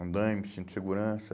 Andaime, cinto de segurança.